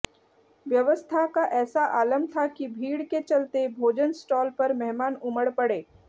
व्यवस्था का ऐसा आलम था कि भीड़ के चलते भोजन स्टॉल पर मेहमान उमड़ पड़े